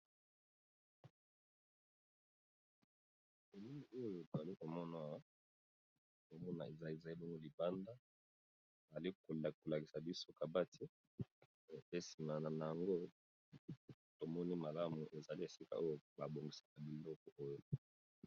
Elilii oyo to ali ko mona awa eza bongo libanda. Ali ko lakisa biso kabati. Epui na sima na yango tomoni malamu ezali esika oyo ba bongisaka biloko oyo.